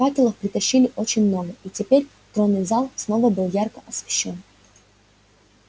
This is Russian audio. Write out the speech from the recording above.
факелов притащили очень много и теперь тронный зал снова был ярко освещён